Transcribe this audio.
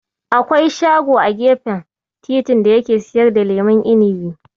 Akwai shago a gefen titi da yake siyar da lemon inibi.